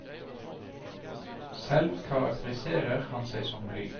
Selv karakteriserer han seg som blyg.